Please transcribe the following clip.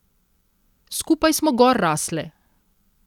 Skupaj smo gor rasle.